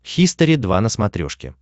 хистори два на смотрешке